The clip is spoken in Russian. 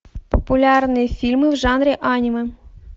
популярные фильмы в жанре аниме